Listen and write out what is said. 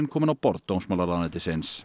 komin á borð dómsmálaráðuneytisins